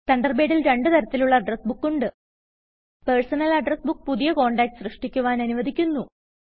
തണ്ടർബേഡിൽ രണ്ടു തരത്തിലുള്ള address book ഉണ്ട് പേഴ്സണൽ അഡ്രസ് ബുക്ക് പുതിയ കോണ്ടാക്ട്സ് സൃഷ്ടിക്കുവാൻ അനുവദിക്കുന്നു